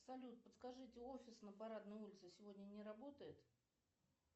салют подскажите офис на парадной улице сегодня не работает